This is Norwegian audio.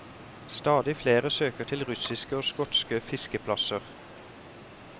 Stadig flere søker til russiske og skotske fiskeplasser.